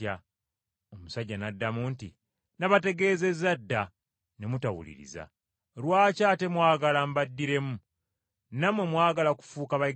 Omusajja n’addamu nti, “Nabategeezezza dda ne mutawuliriza. Lwaki ate mwagala mbaddiremu? Nammwe mwagala kufuuka bayigirizwa be?”